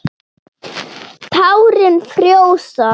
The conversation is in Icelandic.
Tárin frjósa.